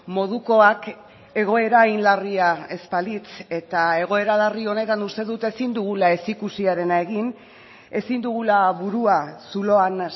modukoak egoera hain larria ez balitz eta egoera larri honetan uste dut ezin dugula ez ikusiarena egin ezin dugula burua zuloan